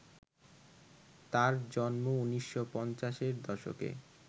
তাঁর জন্ম ১৯৫০-এর দশকে